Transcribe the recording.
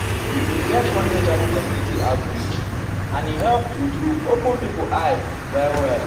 we um bin get one hiv community outreach and e help true true open pipo eyes well well. um